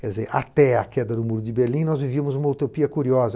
Quer dizer, até a queda do muro de Berlim, nós vivíamos uma utopia curiosa.